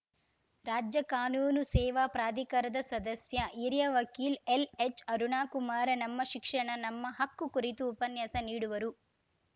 ರಾಜ್ಯ ಕಾನೂನು ಸೇವಾ ಪ್ರಾಧಿಕಾರದ ಸದಸ್ಯ ಹಿರಿಯ ವಕೀಲ್ ಎಲ್‌ಎಚ್‌ಅರುಣಕುಮಾರ ನಮ್ಮ ಶಿಕ್ಷಣ ನಮ್ಮ ಹಕ್ಕು ಕುರಿತು ಉಪನ್ಯಾಸ ನೀಡುವರು